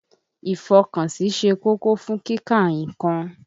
Ìfọkànsí ṣe kókó fún kíka nnkan.